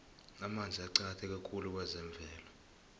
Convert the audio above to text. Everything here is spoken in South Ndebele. amanzi aqakatheke khulu kwezemvelo